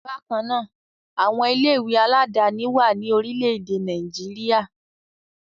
Bákan náà, àwọn ilé-ìwé aládàáni wà ní orílẹ̀-èdè Nàìjíríà.